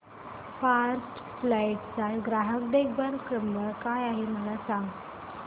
first flight चा ग्राहक देखभाल नंबर काय आहे मला सांग